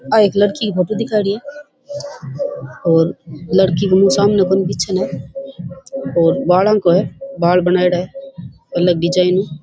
आ एक लड़की की फोटो दिखाईडी है और लड़की के सामने कोनी पीछे न है और बाला को है बाल बनायेडा है अलग डिजाइन ।